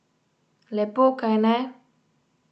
Lepo, kajne?